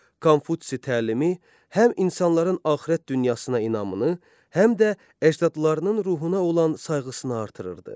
Konfutsi təlimi həm insanların axirət dünyasına inamını, həm də əcdadlarının ruhuna olan sayğısını artırırdı.